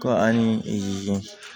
Kɔ ani